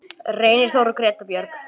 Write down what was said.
Reynir Þór og Greta Björg.